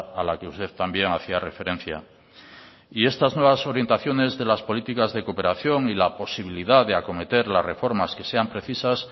a la que usted también hacía referencia y estas nuevas orientaciones de las políticas de cooperación y la posibilidad de acometer las reformas que sean precisas